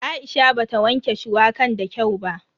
Aisha bata wanke shuwakan da kyau ba.